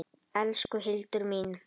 Elsku Hildur mín.